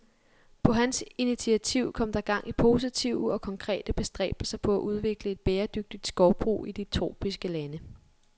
På hans initiativ kom der gang i positive og konkrete bestræbelser på at udvikle et bæredygtigt skovbrug i de tropiske lande.